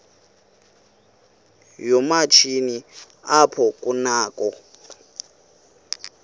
yoomatshini apho kunakho